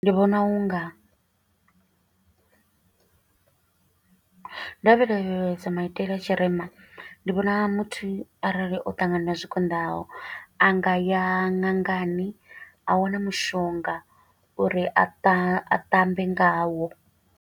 Ndi vhona u nga, nda ndo lavhelesa maitele a tshirema, ndi vhona muthu arali o ṱangana na zwikonḓaho, a nga ya ṅangani a wana mushonga, uri a tambe ngawo.